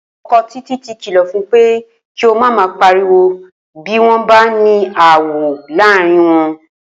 O̩ko̩ Títí ti kìlò̩ fun pé kí ó má máa pariwo bí wó̩n bá ní aáwò̩ láàárín wo̩n